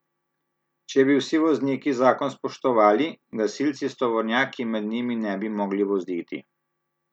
Če bi vsi vozniki zakon spoštovali, gasilci s tovornjaki med njimi ne bi mogli voziti.